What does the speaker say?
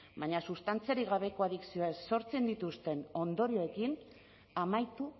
baina sustantziarik gabeko adikzioak sortzen dituzten ondorioekin amaitu